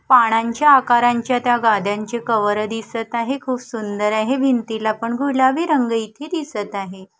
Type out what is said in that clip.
पानांच्या आकारांच्या त्या गाद्यांचे कवर दिसत आहे खूप सुंदर आहे भिंतीला पण गुलाबी रंग इथे दिसत आहे.